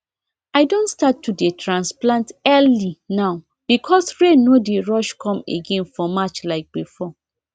i don start to dey transplant early now because rain no dey rush come again for march like before